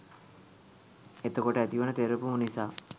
එතකොට ඇතිවන තෙරපුම නිසා